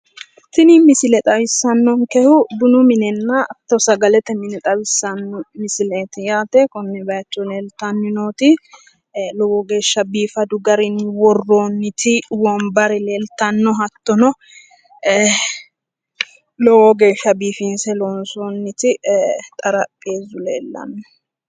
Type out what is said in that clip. Tini misile xawissannonkehuno bunu minenna sagalete mine xawissanno misileeti yaate. Konne bayicho leeltenni nooti lowo geeshsha biifadu garinni loonsonniti wombare leeltanni no yaate. hattono xarapheessu leellanno yaate.